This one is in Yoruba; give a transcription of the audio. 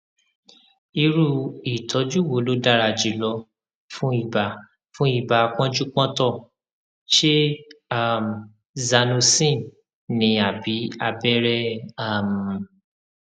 irú ìtọjú wo ló dára jùlọ fún ibà fún ibà pọnjúpọntọ ṣé um zanocin ni àbí abẹrẹ um